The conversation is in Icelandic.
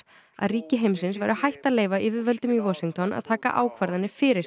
að ríki heimsins væru hætt að leyfa yfirvöldum í Washington að taka ákvarðanir fyrir